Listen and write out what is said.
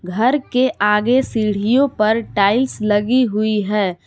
घर के आगे सीढ़ियों पर टाइल्स भी लगी हुई हैं।